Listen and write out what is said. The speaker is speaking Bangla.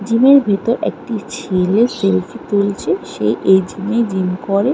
জিম -এর ভেতর একটি ছেলে সেলফি তুলছে সে এই জিম এই জিম করে |